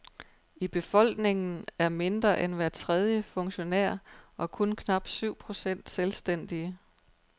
I befolkningen er mindre end hver tredje funktionær og kun knap syv procent selvstændige.